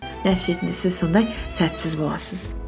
нәтижесінде сіз сондай сәтсіз боласыз